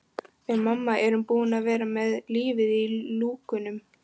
Við mamma erum búin að vera með lífið í lúkunum.